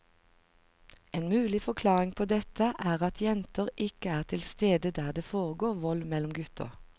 En mulig forklaring på dette er at jenter ikke er til stede der det foregår vold mellom gutter.